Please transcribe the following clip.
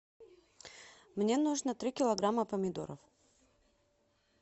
мне нужно три килограмма помидоров